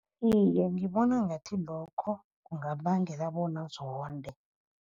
Iye, ngibona ngathi lokho kungabangela bona azonde.